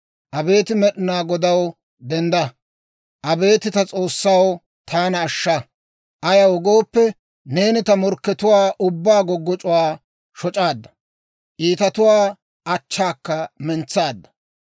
Abeet Med'inaa Godaw, dendda! Abeet ta S'oossaw, taana ashsha! Ayaw gooppe, neeni ta morkkatuwaa ubbaa goggoc'c'uwaa shoc'aadda; iitatuwaa achchaakka mentsaadda.